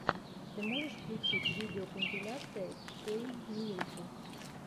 ты можешь включить видеокомпиляция кейммирикл